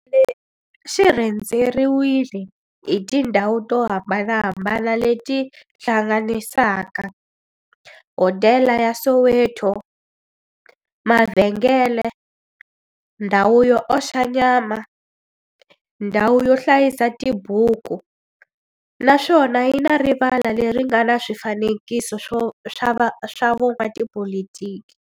Xi rhendzeriwile hi tindhawu to hambanahambana le ti hlanganisaka, hodela ya Soweto, mavhengele, ndhawu yo oxa nyama, ndhawu yo hlayisa tibuku, naswona yi na rivala le ri nga na swifanekiso swa vo n'watipolitiki.